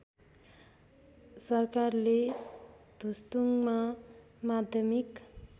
सरकारले धुस्तुङ्गमा माध्यमिक